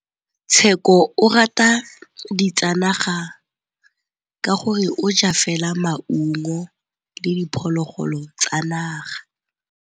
Tshekô o rata ditsanaga ka gore o ja fela maungo le diphologolo tsa naga.